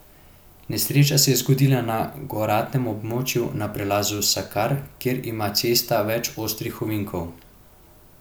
Nesreča se je zgodila na goratem območju na prelazu Sakar, kjer ima cesta več ostrih ovinkov.